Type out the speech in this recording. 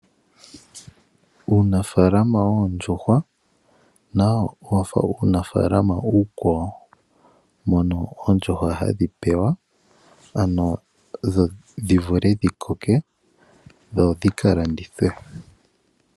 Uunafaalama woondjuhwa nawo owafa uunafalama uukwawo. Oondjuhwa ohadhi paluthwa dhivule okukoka dhika landithwe.